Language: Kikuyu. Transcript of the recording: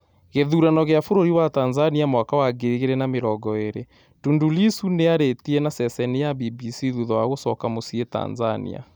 Gĩthurano kĩa bũrũri wa Tanzania mwaka wa ngiri igĩrĩ na mĩrongo ĩrĩ: Tundu Lissu nĩarĩtie naceceni ya BBC thutha wa gũcoka mũcĩĩ Tanzania